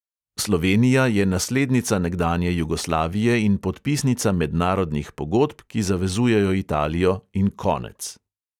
Slovenija je naslednica nekdanje jugoslavije in podpisnica mednarodnih pogodb, ki zavezujejo italijo, in konec.